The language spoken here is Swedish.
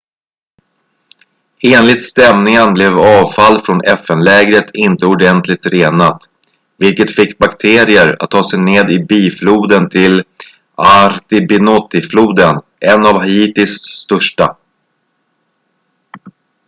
enligt stämningen blev avfall från fn-lägret inte ordentligt renat vilket fick bakterier att ta sig ned i bifloden till artibonite-floden en av haitis största